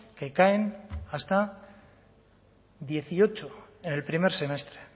que caen hasta dieciocho en el primer semestre